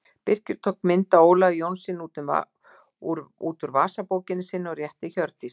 Birkir tók mynd af Ólafi Jónssyni út úr vasabókinni sinni og rétti Hjördísi.